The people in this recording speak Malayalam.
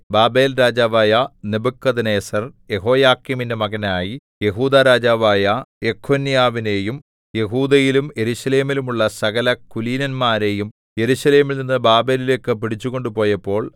ബാബേൽരാജാവായ നെബൂഖദ്നേസർ യെഹോയാക്കീമിന്റെ മകനായി യെഹൂദാ രാജാവായ യെഖൊന്യാവിനെയും യെഹൂദയിലും യെരൂശലേമിലും ഉള്ള സകലകുലീനന്മാരെയും യെരൂശലേമിൽ നിന്നു ബാബേലിലേക്കു പിടിച്ചു കൊണ്ടുപോയപ്പോൾ